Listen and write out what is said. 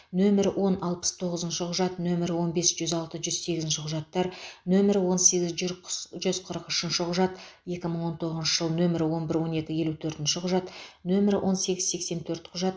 нөмірі он алпыс тоғызыншы құжат нөмірі он бес жүз алты жүз сегізінші құжаттар нөмірі он сегіз жүр жүз қырық үшінші құжат екі мың тоғызыншы жылы нөмірі он бір он екі елу төртінші құжат нөмірі он сегіз сексен төрт құжат